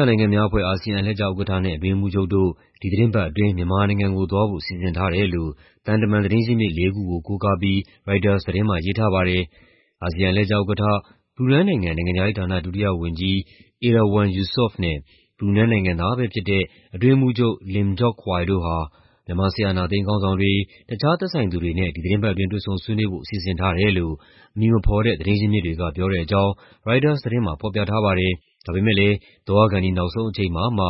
ောင်အာရှနိုင်ငံများအဖွဲ့ (ASEAN) အလှည့်ကျဥက္ကဋ္ဌနဲ့ အတွင်းရေးမှူးချုပ်တို့ ဒီသီတင်းပတ်အတွင်း မြန်မာနိုင်ငံကိုသွားဖို့ စီစဉ်ထားတယ်လို့ သံတမန်သတင်းရင်းမြစ်လေးခုကို ကိုးကားပြီး ရိုက်တာသတင်းမှာ ရေးထားပါတယ်။ အာဆီယံအလှည့်ကျဥက္ကဋ္ဌ ဘရူနိုင်းနိုင်ငံ၊ နိုင်ငံခြားရေးဌာန ဒုတိယဝန်ကြီး Erywan Yusof နဲ့ ဘရူနိုင်း နိုင်ငံသားပဲဖြစ်တဲ့ အတွင်းရေးမှူးချုပ် Lim Jock Hoi တို့ဟာ မြန်မာ စစ်အာဏာသိမ်းခေါင်းဆောင်တွေ၊ တခြားသက်ဆိုင်သူတွေနဲ့ ဒီသီတင်းပတ်အတွင်း တွေ့ဆုံဆွေးနွေးဖို့ စီစဉ်ထားတယ်လို့ အမည်မဖော်တဲ့ သတင်းရင်းမြစ်တွေက ပြောတဲ့အကြောင်း ရိုက်တာသတင်းမှာ ဖော်ပြထားပါတယ်။ ဒါပေမယ့်လည်း သွားခါနီး နောက်ဆုံးအချိန်မှာမှ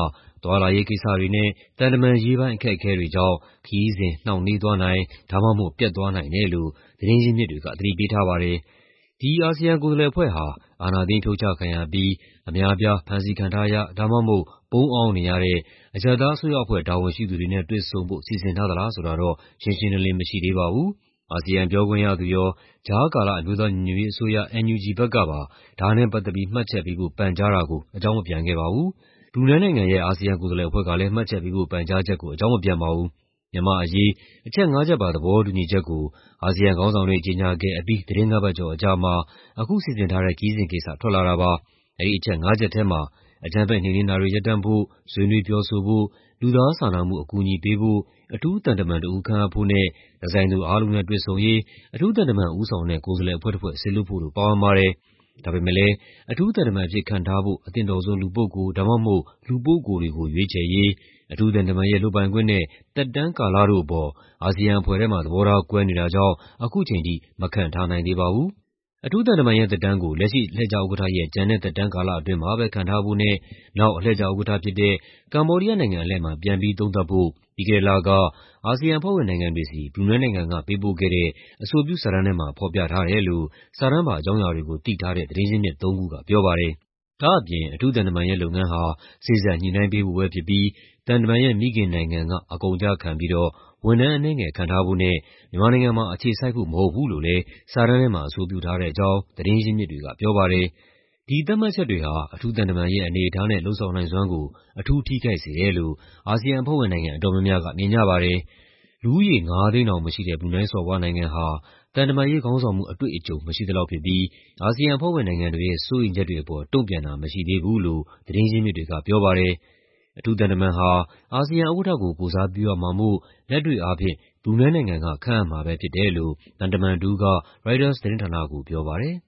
သွားလာရေးကိစ္စတွေနဲ့ သံတမန်ရေးပိုင်း အခက်အခဲတွေကြောင့် ခရီးစဉ် နှောင့်နှေးသွားနိုင် ဒါမှမဟုတ် ပျက်သွားနိုင်တယ်လို့ သတင်းရင်းမြစ်တွေက သတိပေးထားပါတယ်။ ဒီ အာဆီယံကိုယ်စားလှယ်အဖွဲ့ဟာ အာဏာသိမ်းဖြုတ်ချခံရပြီး အများအပြား ဖမ်းဆီးခံထားရ ဒါမှမဟုတ် ပုန်းအောင်းနေရတဲ့ အရပ်သားအစိုးရတာဝန်ရှိသူတွေနဲ့ တွေ့ဆုံဖို့ စီစဉ်ထားသလားဆိုတာတော့ ရှင်းရှင်းလင်းလင်း မရှိသေးပါဘူး။ အာဆီယံပြောခွင့်ရသူရော၊ ကြားကာလ အမျိုးသားညီညွတ်ရေးအစိုးရ (NUG) ဘက်ကပါ ဒါနဲ့ပတ်သက်ပြီး မှတ်ချက်ပေးဖို့ ပန်ကြားတာကို အကြောင်းမပြန်ခဲ့ပါဘူး။ ဘရူနိုင်းနိုင်ငံရဲ့ အာဆီယံကိုယ်စားလှယ်အဖွဲ့ကလည်း မှတ်ချက်ပေးဖို့ ပန်ကြားချက်ကို အကြောင်းမပြန်ပါဘူး။ မြန်မာ့အရေး "အချက်ငါးချက်ပါ သဘောတူညီချက်" ကို အာဆီယံခေါင်းဆောင်တွေ ကြေညာခဲ့အပြီး သီတင်းငါးပတ်ကျော်အကြာမှာ အခုစီစဉ်ထားတဲ့ ခရီးစဉ်ကိစ္စထွက်လာတာပါ။ အဲဒီအချက်ငါးချက်ထဲမှာ အကြမ်းဖက်နှိမ်နင်းတာတွေ ရပ်တန့်ဖို့၊ ဆွေးနွေးပြောဆိုဖို့၊ လူသားစာနာမှု အကူအညီပေးဖို့၊ အထူးသံတမန်တဦး ခန့်အပ်ဖို့နဲ့ "သက်ဆိုင်သူအားလုံးနဲ့ တွေ့ဆုံရေး" အထူးသံတမန်ဦးဆောင်တဲ့ ကိုယ်စားလှယ်အဖွဲ့တဖွဲ့ စေလွှတ်ဖို့တို့ ပါဝင်ပါတယ်။ ဒါပေမဲ့လည်း အထူးသံတမန်အဖြစ် ခန့်ထားဖို့ အသင့်တော်ဆုံးလူပုဂ္ဂိုလ် ဒါမှမဟုတ် လူပုဂ္ဂိုလ်တွေကို ရွေးချယ်ရေး၊ အထူးသံတမန်ရဲ့ လုပ်ပိုင်ခွင့်နဲ့ သက်တမ်းကာလတို့အပေါ် အာဆီယံအဖွဲ့ထဲမှာ သဘောထားကွဲနေတာကြောင့် အခုချိန်ထိ မခန့်ထားနိုင်သေးပါဘူး။ အထူးသံတမန်ရဲ့သက်တမ်းကို လက်ရှိအလှည့်ကျဥက္ကဋ္ဌရဲ့ ကျန်တဲ့သက်တမ်းကာလအတွင်းမှာပဲ ခန့်ထားဖို့နဲ့ နောက်အလှည့်ကျဥက္ကဋ္ဌဖြစ်တဲ့ ကမ္ဘောဒီးယားနိုင်ငံအလှည့်မှာ ပြန်ပြီးသုံးသပ်ဖို့ ပြီးခဲ့တဲ့လက အာဆီယံအဖွဲ့ဝင်နိုင်ငံတွေဆီ ဘရူနိုင်းနိုင်ငံက ပေးပို့ခဲ့တဲ့ "အဆိုပြုစာတမ်း" ထဲမှာ ဖော်ပြထားတယ်လို့ စာတမ်းပါ အကြောင်းအရာတွေကိုသိထားတဲ့ သတင်းရင်းမြစ်သုံးခုကပြောပါတယ်။ ဒါ့အပြင် အထူးသံတမန်ရဲ့လုပ်ငန်းဟာ စေ့စပ်ညှိနှိုင်းပေးဖို့ပဲဖြစ်ပြီး သံတမန်ရဲ့ မိခင်နိုင်ငံက အကုန်အကျခံပြီးတော့ ဝန်ထမ်းအနည်းငယ်ခန့်ထားဖို့နဲ့ မြန်မာနိုင်ငံမှာ အခြေစိုက်ဖို့မဟုတ်ဘူးလို့လည်း စာတမ်းထဲမှာ အဆိုပြုထားတဲ့အကြောင်း သတင်းရင်းမြစ်တွေက ပြောပါတယ်။ ဒီသတ်မှတ်ချက်တွေဟာ အထူးသံတမန်ရဲ့ အနေအထားနဲ့ လုပ်ဆောင်နိုင်စွမ်းကို အထူးထိခိုက်စေတယ်လို့ အာဆီယံအဖွဲ့ဝင်အတော်များများက မြင်ကြပါတယ်။ လူဦးရေ ၅၀၀,၀၀၀ တောင်မရှိတဲ့ ဘရူနိုင်းစော်ဘွားနိုင်ငံဟာ သံတမန်ရေး ခေါင်းဆောင်မှုအတွေ့အကြုံ မရှိသလောက်ဖြစ်ပြီး အာဆီယံအဖွဲ့ဝင်နိုင်ငံတွေရဲ့ စိုးရိမ်ချက်တွေအပေါ် တုံ့ပြန်တာမရှိသေးဘူးလို့ သတင်းရင်းမြစ်တွေကပြောပါတယ်။ အထူးသံတမန်ဟာ အာဆီယံဥက္ကဋ္ဌကို ကိုယ်စားပြုရမှာမို့ လက်တွေ့အားဖြင့် ဘရူနိုင်းနိုင်ငံက ခန့်အပ်မှာပဲဖြစ်တယ်လို့ သံတမန်တဦးက ရိုက်တာသတင်းဌာနကိုပြောပါတယ်။